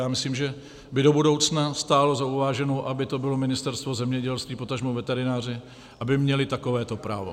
A myslím, že by do budoucna stálo za uváženou, aby to bylo Ministerstvo zemědělství, potažmo veterináři aby měli takovéto právo.